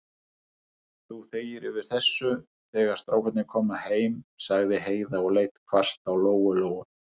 Þú þegir yfir þessu, þegar strákarnir koma heim, sagði Heiða og leit hvasst á Lóu-Lóu.